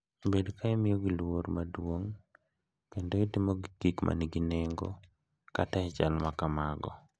Bed ka imiyogi luor maduong’ kendo itimogi gik ma nigi nengo kata e chal ma kamago.